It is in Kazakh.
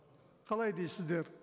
қалай дейсіздер